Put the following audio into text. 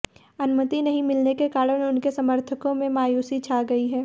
अनुमति नहीं मिलने के कारण उनके समर्थकों में मायूसी छा गई है